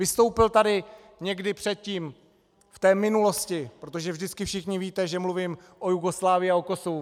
Vystoupil tady někdy předtím v té minulosti, protože vždycky všichni víte, že mluvím o Jugoslávii a o Kosovu.